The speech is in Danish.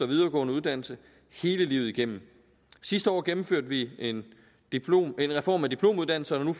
videregående uddannelse hele livet igennem sidste år gennemførte vi en reform af diplomuddannelserne og